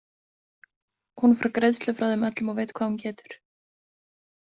Hún fær greiðslu frá þeim öllum og veit hvað hún getur.